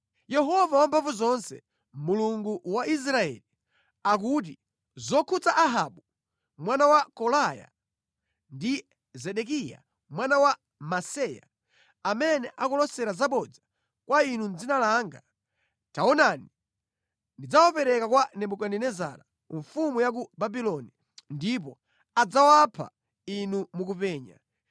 Yehova Wamphamvuzonse, Mulungu wa Israeli akuti zokhudza Ahabu mwana wa Kolaya ndi Zedekiya mwana wa Maseya, amene akulosera zabodza kwa inu mʼdzina langa: “Taonani ndidzawapereka kwa Nebukadinezara mfumu ya ku Babuloni, ndipo adzawapha inu mukupenya.